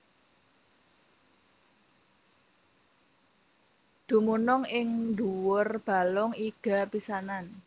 Dumunung ing ndhuwur balung iga pisanan